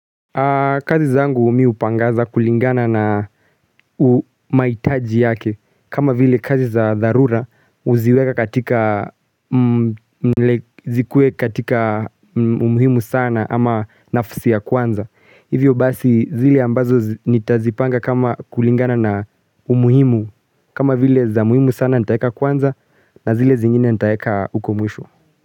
Kazi zangu mi hupangaza kulingana na mahitaji yake kama vile kazi za dharura uziweka katika umuhimu sana ama nafsi ya kwanza Hivyo basi zile ambazo nitazipanga kama kulingana na umuhimu kama vile za muhimu sana nitaeka kwanza na zile zingine nitaeka uko mwisho.